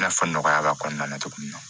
I n'a fɔ nɔgɔya b'a kɔnɔna na cogo min na